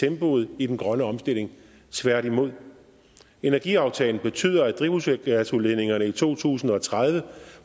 tempoet i den grønne omstilling tværtimod energiaftalen betyder at drivhusgasudledningerne i to tusind og tredive